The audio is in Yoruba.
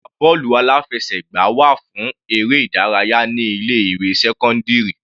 Ọgbà bọ́ọ̀lù aláfẹsẹ̀gbá wà fún eré ìdárayá ní ilé ìwé sẹ́cọ́ndírì.